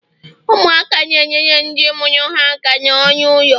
ụmụaka na-enyere ndị mụrụ ha aka n'ọrụ ụlọ